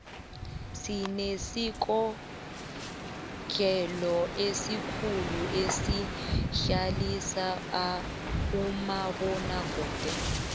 sinesikotlelo esikhulu esidlalisa umabonakude